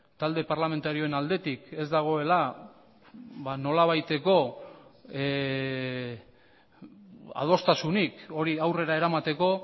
talde parlamentarioen aldetik ez dagoela nolabaiteko adostasunik hori aurrera eramateko